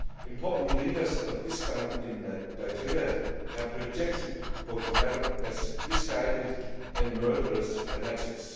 Important leaders of Islam in Nigeria have rejected Boko Haram as misguided and murderous fanatics.